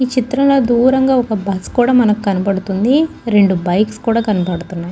ఈ చిత్రం లో దూరం గ ఒక బస్సు కూడా మనకి కనిపిస్తుంది రెండు బైక్ కూడా కనిపిస్తుంది.